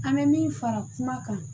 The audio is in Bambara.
An bɛ min fara kuma kan